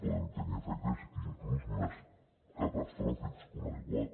poden tenir efectes inclús més catastròfics que un aiguat